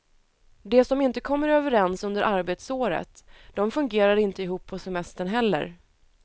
De som inte kommer överens under arbetsåret, de fungerar inte ihop på semestern heller.